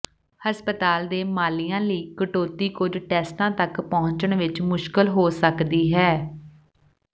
ਹਸਪਤਾਲ ਦੇ ਮਾਲੀਏ ਲਈ ਕਟੌਤੀ ਕੁਝ ਟੈਸਟਾਂ ਤੱਕ ਪਹੁੰਚਣ ਵਿੱਚ ਮੁਸ਼ਕਲ ਹੋ ਸਕਦੀ ਹੈ